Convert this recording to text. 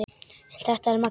Þetta er Maggi!